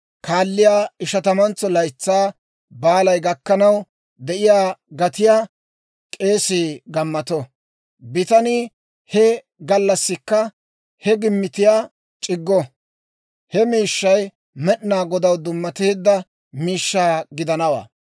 kaalliyaa Ishatamantso Laytsaa Baalay gakkanaw de'iyaa gatiyaa k'eesii gammato; bitanii he gallassikka he gimmitiyaa c'iggo; he miishshay Med'inaa Godaw dummateedda miishshaa gidanawaa.